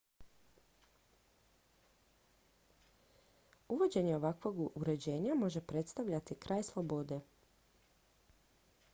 uvođenje ovakvog uređenja može predstavljati kraj slobode